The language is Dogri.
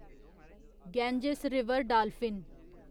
Ganges river dolphin